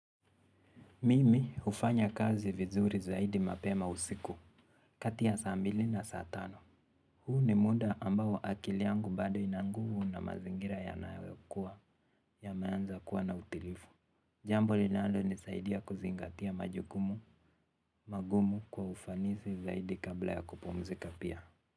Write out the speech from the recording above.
Mimi hufanya kazi vizuri zaidi mapema usiku kati ya saa mbili na saa tano. Huu ni muda ambao akili yangu bado ina nguvu na mazingira yanayokuwa yameanza kuwa na utilifu. Jambo linalo nisaidia kuzingatia majukumu magumu kwa ufanisi zaidi kabla ya kupumzika pia.